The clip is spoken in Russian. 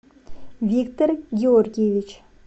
виктор георгиевич